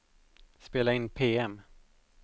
spela in PM